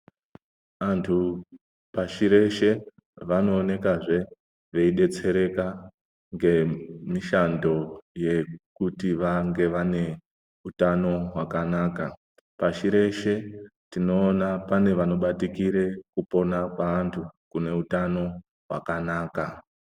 Antu pashireshe vanoonekazve veidetsereka ngemishando yekuti vange vane utano hwakanaka. Pashi reshe tinoona pane vanobatikire kupona kweantu kune utano hwakanaka.